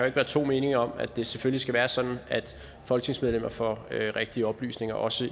ikke være to meninger om at det selvfølgelig skal være sådan at folketingsmedlemmer får rigtige oplysninger også